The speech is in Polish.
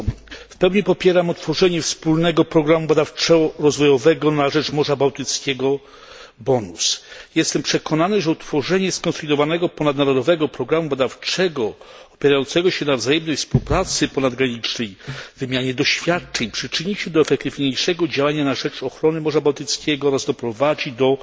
W pełni popieram utworzenie wspólnego programu badawczo rozwojowego na rzecz Morza Bałtyckiego Bonus. Jestem przekonany, że utworzenie skonsolidowanego ponadnarodowego programu badawczego opierającego się na wzajemnej współpracy ponadgranicznej, wymianie doświadczeń przyczyni się do efektywniejszego działania na rzecz ochrony Morza Bałtyckiego oraz doprowadzi do